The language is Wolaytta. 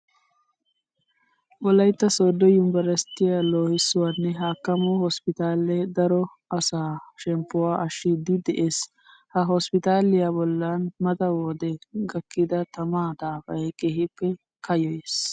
Wolaytta sooddo yunveresttiya loohissuwanne hakkamuwa hosppitaalee daro asaa shemppuwa ashshiiddi de'ees. Ha hosppitaaliya bollan mata wode gakkida tamaa daafay keehippe kayyoyees.